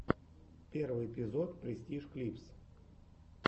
первый эпизод престиж клипс